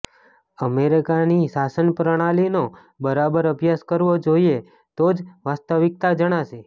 અમેરિકાની શાસન પ્રણાલીનો બરાબર અભ્યાસ કરવો જોઈએ તો જ વાસ્તવિકતા જણાશે